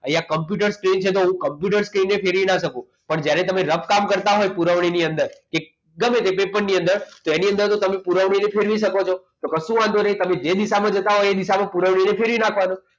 અહીંયા કોમ્પ્યુટર છે એ સ્ક્રીન છે તો કોમ્પ્યુટર સ્ક્રીન ને ફેરવી નાખી શકું પરંતુ જ્યારે કામ કરતા હોય ત્યારે પુરવણી ની અંદર કે એકદમ એકદમ પેપર ની અંદર તેની અંદર જો તમે પુરવણીની અંદર ફેરવી શકો છો તો કશો વાંધો નહીં તમે જે દિશામાં જતા હોય એ દિશામાં પુરવણીને ફેરવી નાખવાનું